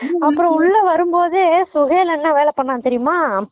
அப்பறம் உள்ள வரும் போதே சுஹேல் அண்ணா வேலப்பன்னாங்க தெரியுமா